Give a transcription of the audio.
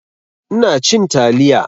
Ina cin taliya